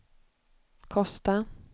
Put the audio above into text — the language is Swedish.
Kosta